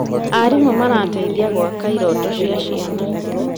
Arimũ marateithia gwaka irooto cia ciana.